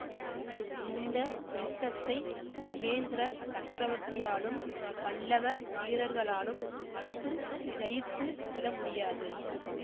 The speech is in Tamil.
இந்த யுத்தத்தை மகேந்திர சக்கரவர்த்தியாலும் பல்லவ வீரர்களாலும் மட்டும் ஜயித்து விடமுடியாது